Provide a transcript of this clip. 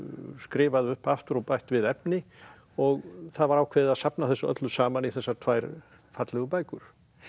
skrifað upp aftur og bætt við efni og það var ákveðið að safna þessu öllu saman í þessar tvær fallegu bækur